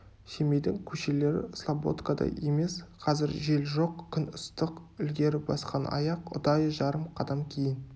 семейдің көшелері слободкадай емес қазір жел жоқ күн ыстық ілгері басқан аяқ ұдайы жарым қадам кейін